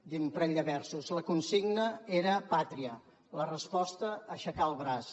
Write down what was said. diré un parell de versos la consigna era pàtria la resposta aixecar el braç